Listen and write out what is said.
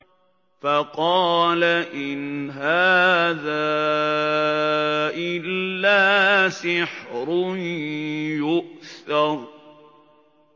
فَقَالَ إِنْ هَٰذَا إِلَّا سِحْرٌ يُؤْثَرُ